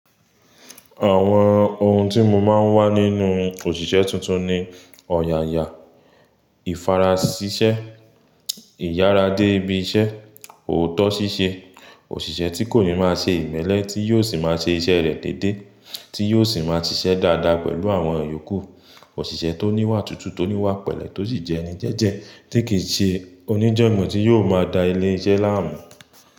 Àwọn ohun tí mo máa ń wá nínú òṣìṣẹ́ tuntun ni ọ̀yàyà, ìfarasisẹ́, ìyára dé ibi iṣẹ́, òótọ́ ṣíṣe, òṣìṣẹ́ tí kò ní máa ṣe ìmẹ́lẹ́, tí yóò sì máa ṣe iṣẹ́ rẹ̀ dédé, tí yóò sì máa ṣiṣẹ́ dáadáa pẹ̀lú àwọn yòókù, òṣìṣẹ́ tó níwà tútù, tó níwà pẹ̀lẹ́, tó sì jẹ́ ẹni jẹ́jẹ́ tí kì í ṣe oníjọ̀gbọ́n, tí yóò máa da ilé iṣẹ́ láàmú.